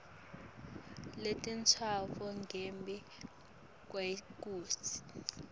letintsatfu ngembi kwekutsi